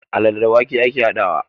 Alale da wake ake haɗawa